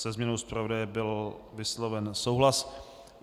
Se změnou zpravodaje byl vysloven souhlas.